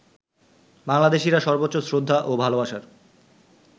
বাংলাদেশিরা সর্বোচ্চ শ্রদ্ধা ও ভালোবাসার